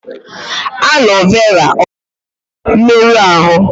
Aloe vera ọ ga-agwọ mmerụ ahụ?